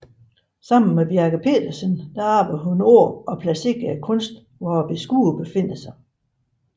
Sammen med Bjerke Petersen arbejdede hun på at placere kunsten hvor beskuerne befinder sig